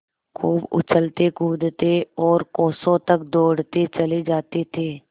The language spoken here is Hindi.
खूब उछलतेकूदते और कोसों तक दौड़ते चले जाते थे